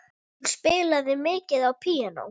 Hún spilaði mikið á píanó.